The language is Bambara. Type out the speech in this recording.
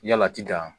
Yala ti dan